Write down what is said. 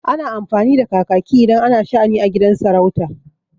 Ana amfani da kakaki idan ana sha'ani a gidan sarauta.